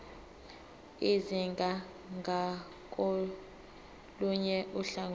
izingane ngakolunye uhlangothi